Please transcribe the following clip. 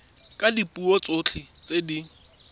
ka dipuo tsotlhe tse di